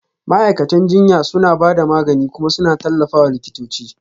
Ma'aikatan jinya suna ba da magani kuma suna tallafawa likitoci